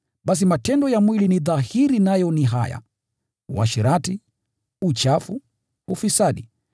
Basi matendo ya mwili ni dhahiri nayo ni haya: Uasherati, uchafu, ufisadi,